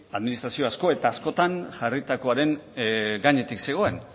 administrazio asko eta askotan jarritakoaren gainetik zegoen